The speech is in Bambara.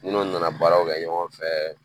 Nunnu nana baaraw kɛ ɲɔgɔn fɛ